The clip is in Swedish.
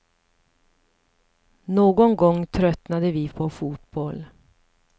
Någon gång tröttnade vi på fotboll.